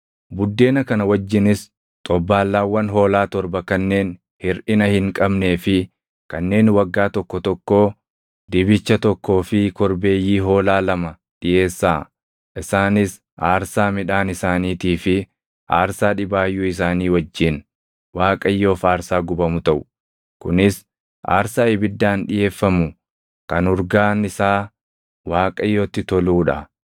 Buddeena kana wajjinis xobbaallaawwan hoolaa torba kanneen hirʼina hin qabnee fi kanneen waggaa tokko tokkoo, dibicha tokkoo fi korbeeyyii hoolaa lama dhiʼeessaa. Isaanis aarsaa midhaan isaaniitii fi aarsaa dhibaayyuu isaanii wajjin Waaqayyoof aarsaa gubamu taʼu; kunis aarsaa ibiddaan dhiʼeeffamu kan urgaan isaa Waaqayyotti toluu dha.